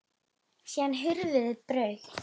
Síðan hurfu þeir á braut.